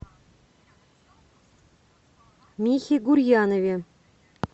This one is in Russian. михе гурьянове